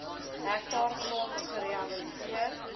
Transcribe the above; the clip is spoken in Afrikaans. hektaar grond gerehabiliteer